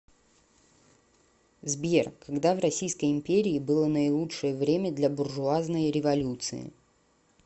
сбер когда в российской империи было наилучшее время для буржуазной революции